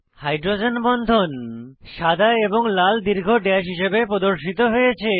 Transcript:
hydrogen বন্ধন সাদা এবং লাল দীর্ঘ ড্যাশ হিসাবে প্রদর্শিত হয়েছে